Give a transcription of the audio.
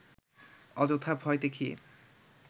অযথা ভয় দেখিয়ে